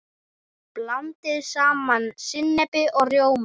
Blandið saman sinnepi og rjóma.